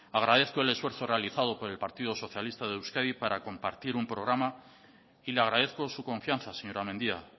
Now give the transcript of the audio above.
agradezco el esfuerzo realizado por el partido socialista de euskadi para compartir un programa y le agradezco su confianza señora mendia